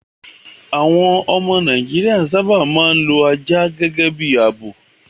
Àwọn ọmọ Nàìjíríà sábà máa ń lo ajá gẹ́gẹ́ bí ààbò.